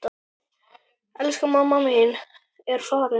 Elsku mamma mín er farin.